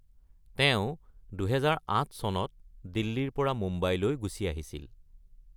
তেওঁ ২০০৮ চনত দিল্লীৰ পৰা মুম্বাইলৈ গুচি আহিছিল।